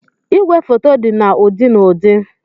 Ìgwè foto dị na ụdị na ụdị.